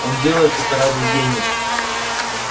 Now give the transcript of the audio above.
он делает это ради денег